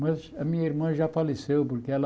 Mas a minha irmã já faleceu, porque ela...